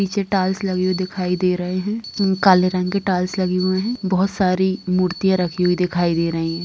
पीछे टाइल्स लगी हुई दिखाई दे रहे हैं म काले रंग के टाइल्स लगी हुए हैं बहुत से सारी मूर्तियां रखी हुई दिखाई दे रही हैं।